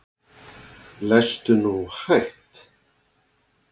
Lestu nú hægt!